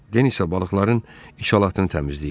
Denisa balıqların içalatını təmizləyirdi.